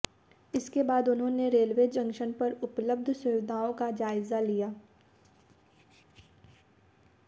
इसके बाद उन्होंने रेलवे जंक्शन पर उपलब्ध सुविधाओं का जायजा लिया